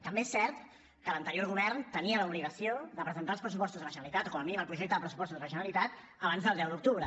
també és cert que l’anterior govern tenia l’obligació de presentar els pressupostos de la generalitat o com a mínim el projecte de pressupostos de la generalitat abans del deu d’octubre